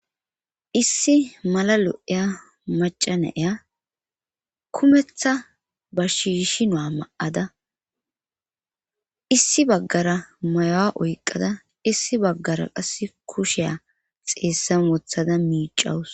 issi mala lo7eya macanaya kumetha ba shiishi nua ma7ada issi baggara mayowa oyqqada issi baggara qass kusheya xeessan wothada miicawus